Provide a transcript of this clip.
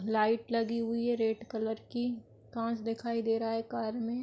Light लगी हुई है रेड कलर की। कांच दिखाई दे रहा है कार में।